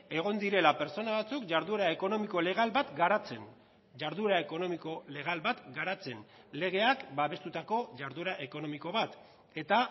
egon direla pertsona batzuk jarduera ekonomiko legal bat garatzen jarduera ekonomiko legal bat garatzen legeak babestutako jarduera ekonomiko bat eta